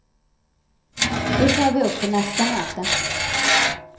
Det tar vi upp på nästa möte.